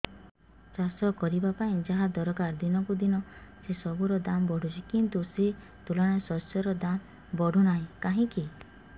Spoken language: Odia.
ଚାଷ କରିବା ପାଇଁ ଯାହା ଦରକାର ଦିନକୁ ଦିନ ସେସବୁ ର ଦାମ୍ ବଢୁଛି କିନ୍ତୁ ସେ ତୁଳନାରେ ଶସ୍ୟର ଦାମ୍ ବଢୁନାହିଁ କାହିଁକି